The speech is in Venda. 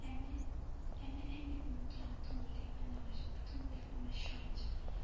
eme eme nṱhwa ṱhungulifha mashonzha